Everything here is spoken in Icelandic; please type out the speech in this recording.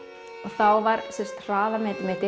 þá var hraðamet mitt